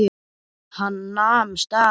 Hann nam staðar.